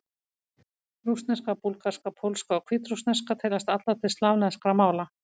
Rússneska, búlgarska, pólska og hvítrússneska teljast allar til slavneskra mála.